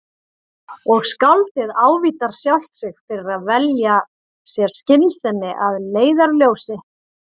Og skáldið ávítar sjálft sig fyrir að velja sér skynsemi að leiðarljósi.